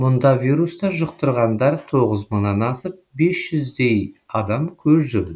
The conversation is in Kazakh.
мұнда вирусты жұқтырғандар тоғыз мыңнан асып бес жүздей адам көз жұмды